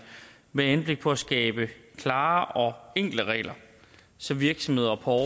med henblik på at skabe klare og enkle regler så virksomheder og